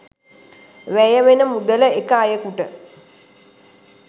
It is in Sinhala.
වැය වෙන මුදල එක අයෙකුට